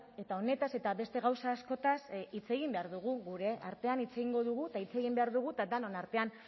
eta honetaz eta beste gauza askotaz hitz egin behar dugu gure artean hitz egingo dugu eta hitz egin behar dugu eta denon artean